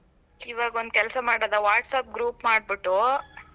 ಇವಾಗ್ ಒಂದ್ ಕೆಲ್ಸ ಮಾಡೋದಾ WhatsApp group ಮಾಡ್ಬಿಟ್ಟು?